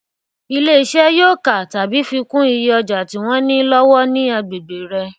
ilé iṣé yóò ka tàbí fi kún iye ọjà tí wón ní lówó ní agbègbè rè